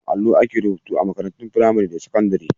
A kan allo ake rubutu a makarantun firamare da sakandire..